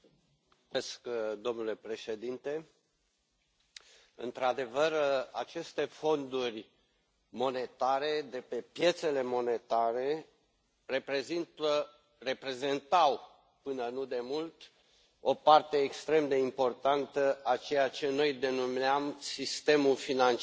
Domnule președinte, într adevăr, aceste fonduri monetare de pe piețele monetare reprezentau, până nu demult, o parte extrem de importantă a ceea ce noi denumeam sistemul financiar din umbră